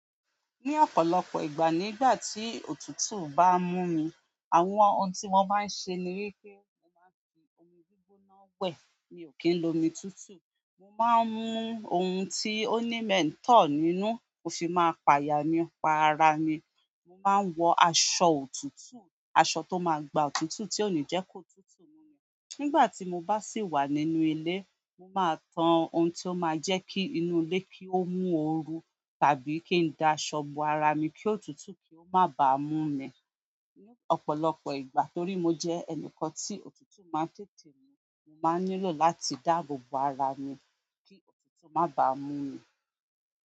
Ni ọ̀pọ̀lọpọ̀ ìgbà nígbà ti òtútù ba n mu mi, àwọn oun ti mo maa n se ni wípé mo maa n fi omi gbigbona we. Mi ò kí ń lo omi tútù. Mo má ń mu ohun tí ó ní mẹ̀ntọ̀ nínú, mo fi máa pa ya nípa ara mi. Mo má ń wọ aṣọ òtútù, aṣọ tó máa gba òtútù tí ò ní jẹ́ kó túùtù mú mi. Nígbà tí mo bá sì wà nínú ilé, mo máa tan ohun tí ó máa jẹ́ kí inú ilé kí ó mú oru tàbí kí n da aṣọ bo ara mi kí òtútù kí ó má ba mú mi. Ní ọ̀pọ̀lọpọ̀ ìgbà torí mo jẹ́ ẹnìkan tí òtútù má ń tètè mú, mo máa nílò láti dáàbò bo ara mi kí òtútù má ba mú mi.